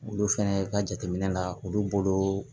Olu fɛnɛ ka jateminɛ la olu bolo